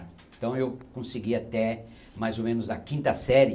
Então, eu consegui até, mais ou menos, a quinta série